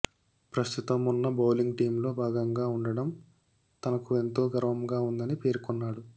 ప్రస్తుతం ఉన్న బౌలింగ్ టీంలో భాగంగా ఉండటం తనకు ఎంతో గర్వంగా ఉందని పేర్కొన్నాడు